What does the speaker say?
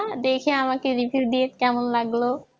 দেখে আমাকে review দিয়েন কেমন লাগলো